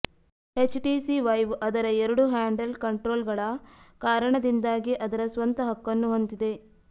HTC Vive ಅದರ ಎರಡು handheld ಕಂಟ್ರೋಲರ್ಗಳ ಕಾರಣದಿಂದಾಗಿ ಅದರ ಸ್ವಂತ ಹಕ್ಕನ್ನು ಹೊಂದಿದೆ